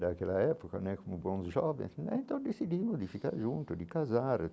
Daquela época né como bons jovens né, então decidimos de ficar juntos, de casar.